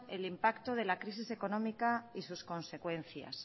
el impacto de la crisis económica y sus consecuencias